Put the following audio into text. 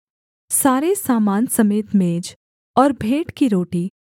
सारे सामान समेत मेज और भेंट की रोटी